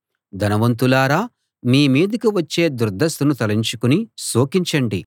ధనవంతులారా మీ మీదికి వచ్చే దుర్దశను తలచుకుని శోకించండి